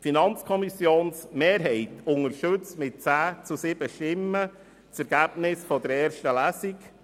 Die Mehrheit der FiKo unterstützt mit 10 zu 7 Stimmen das Ergebnis der ersten Lesung.